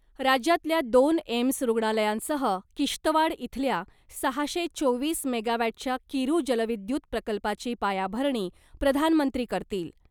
राज्यातल्या दोन एम्स रुग्णालयांसह किश्तवाड इथल्या सहाशे चोवीस मेगावॅटच्या किरु जलविद्युत प्रकल्पाची पायाभरणी प्रधानमंत्री करतील .